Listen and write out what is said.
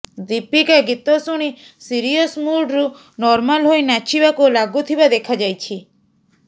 ଦୀପିକା ଗୀତ ଣୁଣି ସିରିୟସ୍ ମୁଡ୍ରୁ ନର୍ମାଲ ହୋଇ ନାଚିବାକୁ ଲାଗୁଥିବା ଦେଖାଯାଇଛି